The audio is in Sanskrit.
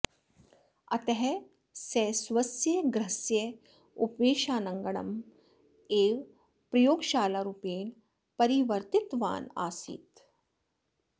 अतः सः स्वस्य गृहस्य उपवेशनाङ्गणम् एव प्रयोगशालारूपेण परिवर्तितवान् आसीत्